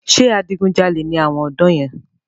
Ṣé adigun jalè ni àwọn ọ̀dọ́ yẹn?